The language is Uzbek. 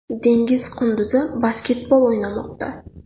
Dengiz qunduzi basketbol o‘ynamoqda .